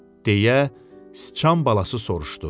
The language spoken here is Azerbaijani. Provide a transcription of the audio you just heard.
deyə sıçan balası soruşdu.